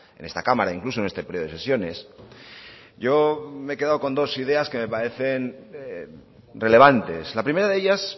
en esta cámara incluso en este periodo de sesiones yo me he quedado con dos ideas que me parecen relevantes la primera de ellas